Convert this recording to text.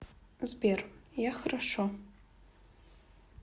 сбер я хорошо